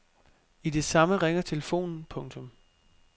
I det samme ringer telefonen. punktum